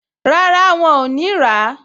Rárá, wọn ò ní rà á